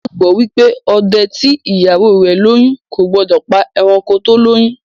Wón gbagbọ wipe òde tí ìyàwó rẹ lóyún o gbódò pá eranko tó lóyún